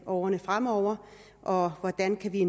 årene fremover og hvordan vi